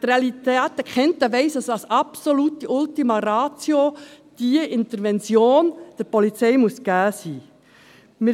Wer die Realitäten kennt, weiss, dass diese Intervention der Polizei als absolute Ultima Ratio zur Verfügung stehen muss.